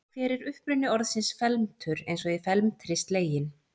Hver er uppruni orðsins felmtur eins og í felmtri sleginn?